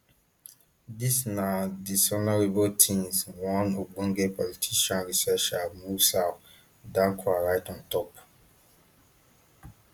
dis na dishonourable tins one ogbonge political researcher mussah dankwah write on top